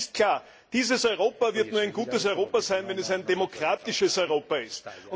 Aber eines ist klar Dieses Europa wird nur ein gutes Europa sein, wenn es ein demokratisches Europa ist.